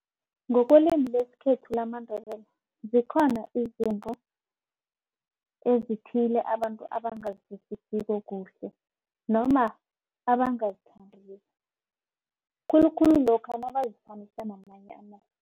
Ngokwelimi lesikhethu lamaNdebele zikhona izinto ezithile abantu abangazizwisisiko kuhle. Noma abangazithandiko khulukhulu lokha nabazifanisa namanye amazwe.